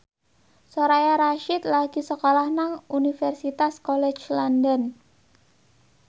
Soraya Rasyid lagi sekolah nang Universitas College London